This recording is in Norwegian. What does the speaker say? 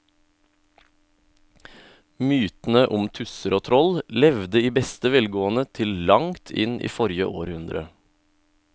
Mytene om tusser og troll levde i beste velgående til langt inn i forrige århundre.